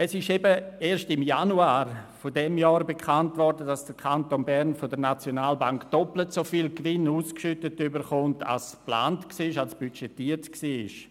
Es wurde aber eben erst im Januar dieses Jahres bekannt, dass dem Kanton Bern von der SNB doppelt so viel Gewinn ausgeschüttet wird als geplant, als budgetiert war.